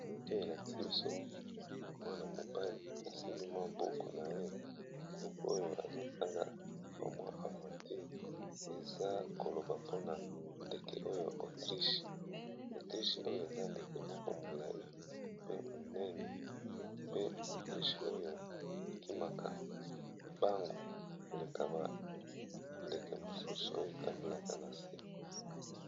Foto elakisi biso mwana mobali asimbi mwa boku na ye buku oyo azotanga ba mwa avanture eza koloba mpona ndeke oyo autriche autriche oyo eza ndeke moko molai pe monene pe autriche oyo ekimaka mbangu koleka ba ndeke mosusu oyo etambolaka na se